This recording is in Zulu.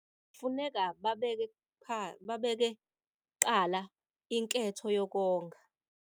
Kufuneka babeke kuqala inketho yokonga.